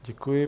Děkuji.